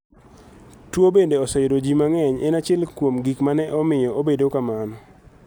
Tuwo bende oseyudo ji mang'eny en achiel kuom gik ma ne omiyo obedo kamano.